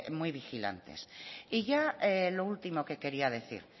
muy vigilantes y ya lo último que quería decir